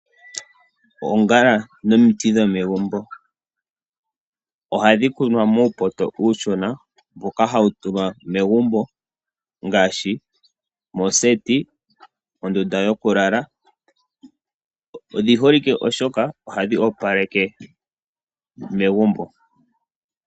Oongala nomiti dho megumbo. Ohadhi kunwa muupoto uushona mboka hawu tulwa megumbo ngashi mooseti, mondunda yokulala, odhi holike shashi ohadhi opaleke megumbo.